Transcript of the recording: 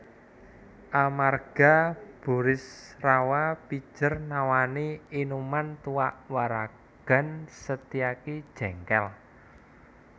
Amarga Burisrawa pijer nawani inuman tuak waragan Setyaki jéngkél